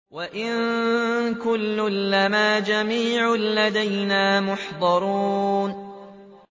وَإِن كُلٌّ لَّمَّا جَمِيعٌ لَّدَيْنَا مُحْضَرُونَ